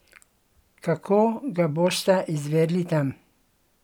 Kako ga bosta izvedli tam?